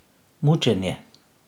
Mučenje.